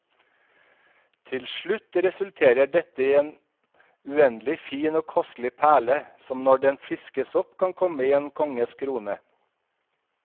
Til slutt resulterer dette i en uendelig fin og kostelig perle, som når den fiskes opp kan komme i en konges krone.